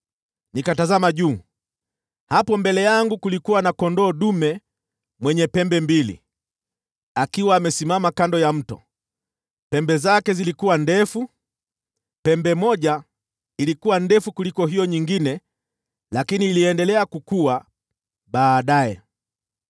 Nikatazama juu, na hapo mbele yangu kulikuwa na kondoo dume mwenye pembe mbili, akiwa amesimama kando ya mto, nazo pembe zake zilikuwa ndefu. Pembe moja ilikuwa ndefu kuliko hiyo nyingine, lakini iliendelea kukua baadaye.